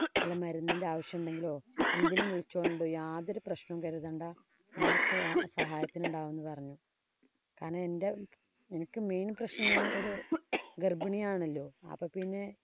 വല്ല മരുന്നിന്‍റെ ആവശ്യം ഉണ്ടെങ്കിലോ എന്തിനും വിളിച്ചോണം ട്ടോ യാതൊരു പ്രശ്നവും കരുതണ്ട. നിങ്ങള്‍ക്ക് സഹായത്തിനുണ്ടാവും എന്ന് പറഞ്ഞു. കാരണം എന്‍റെ എനിക്ക് main പ്രശ്നം എന്താന്ന് ഒരു ഗര്‍ഭിണിയാണല്ലോ. അപ്പൊ പിന്നെ